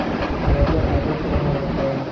E’tirozlar albatta inobatga olinadi.